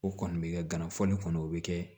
O kɔni bɛ kɛ gana fɔli kɔnɔ o bɛ kɛ